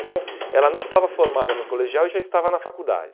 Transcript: Então, ela não estava formada no colegial e já estava na faculdade.